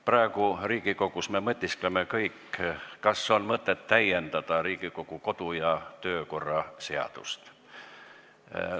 Praegu me Riigikogus kõik mõtiskleme, kas on mõtet täiendada Riigikogu kodu- ja töökorra seadust.